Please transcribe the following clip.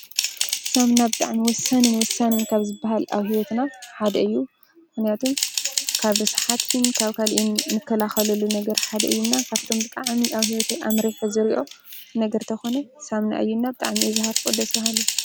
ሳም ናብ ጥዕሚ ወሳንን ወሳንን ካብ ዝበሃል ኣብ ሕይወትና ሓደ እዩ ምንያቱም ካብ ርስሓትን ካብ ካልኢን ንከላኸለሉ ነገር ሓደ እዩና ካብቶም ብጥዓሚ ኣብ ሕይወተይ ኣምሪሕዝርእዮ ነገርተኾነ ሳምና እዩ ና ብ ጥዕሚ እዝሃር ፈወደሰሃሉ።